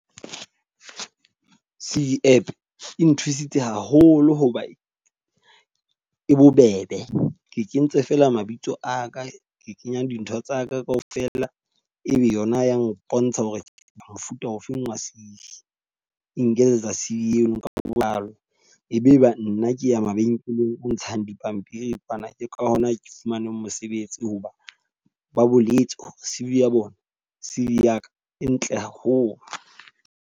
C_V app e nthusitse haholo hoba e bobebe. Ke kentse feela mabitso a ka ke kenyang dintho tsa ka ka ofela. E be yona ya mpontsha hore mofuta ofeng wa C_V, e nketsetsa Save eno ka botlalo. E be e ba nna keya mabenkeleng ho ntshang dipampiri. Ka hona ke fumaneng mosebetsi hoba ba boletse C_V ya bona, C_V ya ka e ntle haholo.